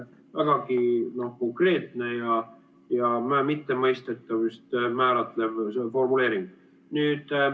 Vägagi konkreetne ja mõistetav formuleering.